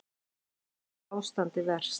Hvar er ástandið verst?